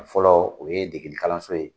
kun Fɔlɔ o ye deginni kalanso ye